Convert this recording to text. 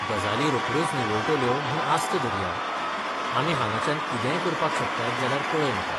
गजाली रोखड्योच निवळटल्यो म्हूण आस्त धरया, आमी हांगाच्यान कितेंय करपाक शकतात जाल्यार कळय म्हाका.